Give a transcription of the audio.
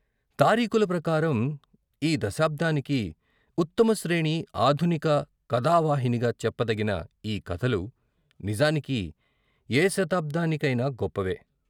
తారీకుల ప్రకారం, ఈ దశాబ్దానికి ఉత్తమ శ్రేణి ఆధునిక కథావాహినిగా చెప్ప దగిన ఈ కథలు నిజానికి ఏ శతాబ్దాని కైనా గొప్పవే.